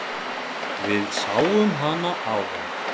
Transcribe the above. Við sáum hana áðan.